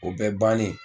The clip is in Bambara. O bɛɛ bannen